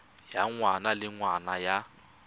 ya ngwaga le ngwaga ya